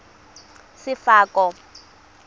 sefako